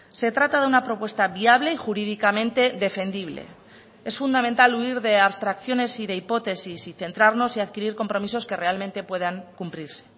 se trata de una propuesta viable y jurídicamente defendible es fundamental huir de abstracciones y de hipótesis y centrarnos y adquirir compromisos que realmente puedan cumplirse